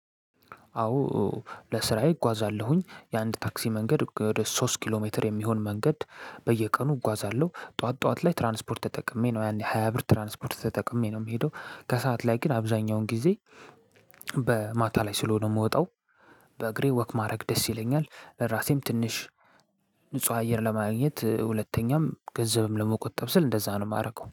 አወ። ለስራየ እጉአዛለሁ የአንድ ለታክሲ መንገድ ወደ ሶስት ኪሎ ሜትር እሚሆን መንገድ በየቀኑ እጉአዛለው ጥዋት ጥዋት ላይ ትራንስፖርት ተጠቅሜ ሀያብር ትራንስፖርት ተጠቅሜ ነው እምሄደው። ከሰአት ላይ ግን አብዛኛውን ጊዜ በማታ ላይ ስለሆነ እምወጣው። በእግሬ ወክ ማድረግ ደስ ይለኛል። ለራሴም ትንሽ ንጹህ አየር ለማግኘት ሁለተኛም ገንዘብም ለመቆጠብ ስል እንደዛ ነው እማደርገው